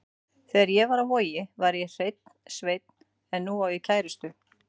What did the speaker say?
Þegar ég var á Vogi var ég hreinn sveinn en nú á ég kærustu.